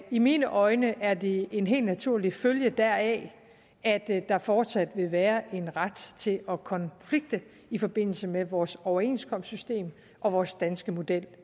i mine øjne er det en helt naturlig følge deraf at der fortsat vil være en ret til at konflikte i forbindelse med vores overenskomstsystem og vores danske model